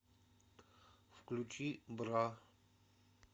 включи бра